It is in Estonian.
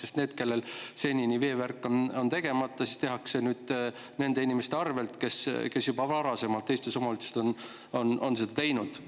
Sest neile, kellel senini on veevärk tegemata, tehakse see nüüd nende inimeste arvel, kes on varem teistes omavalitsustes seda juba teinud.